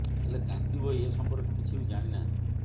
ହେଲେ କାନ୍ତି ଭୋଇ ଏ ସଂପର୍କରେ କିଛି ବି ଜାଣି ନାହାନ୍ତି